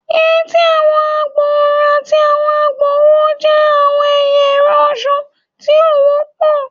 Yeti, awọn egbaorun, ati awọn egbaowo jẹ awọn ẹya ẹrọ ọṣọ ti o wọpọ